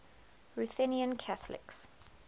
ruthenian catholics